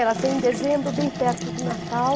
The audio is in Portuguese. Ela saiu em dezembro, bem perto do Natal.